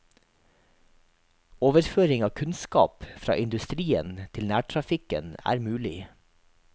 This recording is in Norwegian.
Overføring av kunnskap fra industrien til nærtrafikken er mulig.